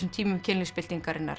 tímum